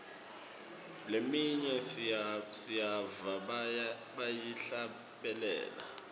leminye siyiva bayihlabelela